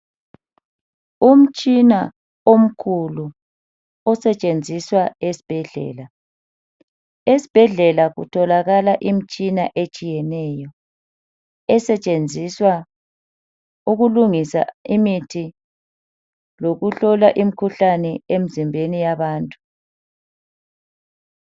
Umtshina omkhulu osetshenziswa esibhedlela. Esibhedlela kutholakala imitshina etshiyeneyo, esetshenziswa ukulungisa imithi, lokuhlola imikhuhlane emizimbeni yabantu